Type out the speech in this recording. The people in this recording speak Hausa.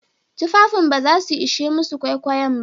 Tufafin ba za su ishe masu kwaikwayon ba.